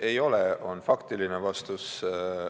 Ei ole, on faktiline vastus.